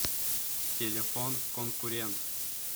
телефон конкурент